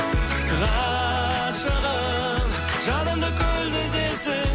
ғашығым жанымды көлдетесің